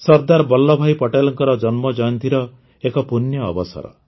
ସର୍ଦ୍ଦାର ବଲ୍ଲଭଭାଇ ପଟେଲଙ୍କର ଜନ୍ମଜୟନ୍ତୀର ଏକ ପୂଣ୍ୟ ଅବସର